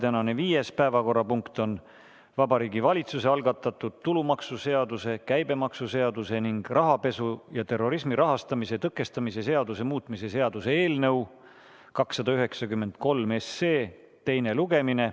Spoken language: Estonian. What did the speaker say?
Tänane viies päevakorrapunkt on Vabariigi Valitsuse algatatud tulumaksuseaduse, käibemaksuseaduse ning rahapesu ja terrorismi rahastamise tõkestamise seaduse muutmise seaduse eelnõu 293 teine lugemine.